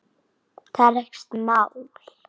Það er ekkert mál.